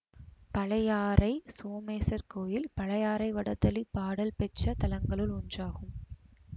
பழையாறை சோமேசர் கோயில் பழையாறை வடதளி பாடல் பெற்ற தலங்களுள் ஒன்றாகும்